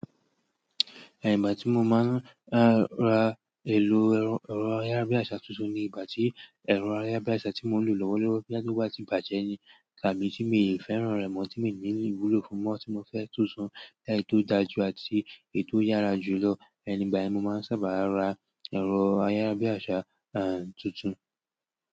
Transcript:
Ìgbà tí mo máa ń ra èlò ẹ̀rọ ayárabíàṣá tuntun ni ìgbà tí ẹ̀rọ ayárabíàṣá tí mò ń lò lọ́wọ́lọ́wọ́ bóyá wá ti bàjẹ́ ni tàbí tí mi ò fẹ́ràn rẹ̀ mọ́ tí mi ní ìwúlò fún mọ́ tí mo fẹ́ tuntun, kí èyí tó dájú àti èyí tó yára jù lọ. Ẹni ìgbà yẹn mo máa ń sábà ra ẹ̀rọ ayárabíàṣá tuntun.